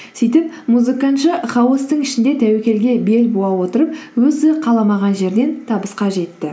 сөйтіп музыкантшы хаостың ішінде тәуекелге бел буа отырып өзі қаламаған жерден табысқа жетті